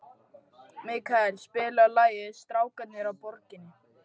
Mikkael, spilaðu lagið „Strákarnir á Borginni“.